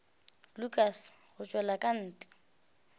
lukas go tšwela ka ntle